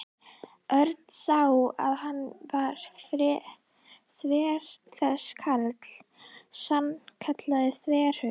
Örn sá að hann var þver þessi karl, sannkallaður þverhaus.